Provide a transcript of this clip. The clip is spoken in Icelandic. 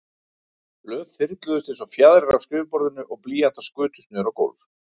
Blöð þyrluðust einsog fjaðrir af skrifborðinu og blýantar skutust niður á gólf.